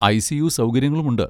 ICU. സൗകര്യങ്ങളും ഉണ്ട്.